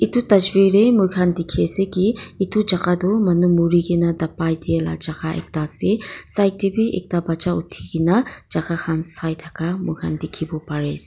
itu tasvir deh muikhan dikhi ase ki itu jaka tu manu murigena dapai dehla jaka ekta ase side teh bi ekta bacha uthikena jaka khan sai thaka muikhan dikhipo pari as--